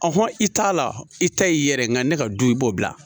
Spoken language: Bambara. hɔn i t'a la i ta y'i yɛrɛ ye nka ne ka du i b'o bila